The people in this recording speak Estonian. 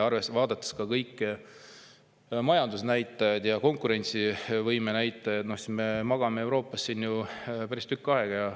Vaadates kõiki majandusnäitajaid ja konkurentsivõime näitajad, näeme, et me siin Euroopas magame juba päris tükk aega.